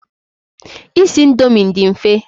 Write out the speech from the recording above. Isi indomi dị mfe.